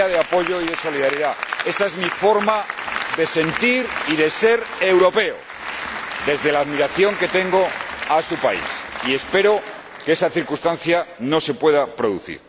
Sería de apoyo y de solidaridad. Ésa es mi forma de sentir y de ser europeo, desde la admiración que tengo a su país y espero que esa circunstancia no se produzca.